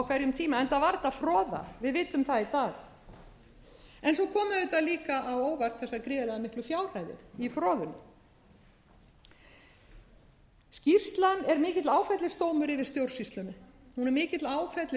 hverjum tíma enda var þetta froða við vitum það í dag en svo komu auðvitað líka á óvart þessar gríðarlega miklu fjárhæðir í froðunni skýrslan er mikill áfellisdómur yfir stjórnsýslunni hún er